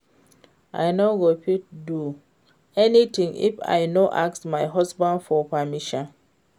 I no go fit do anything if I no ask my husband for permission first